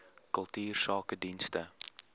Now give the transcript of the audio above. kultuursakedienste